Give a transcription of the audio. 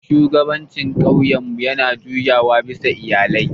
Shugabancin ƙauyenmu yana juyawa bisa iyalai.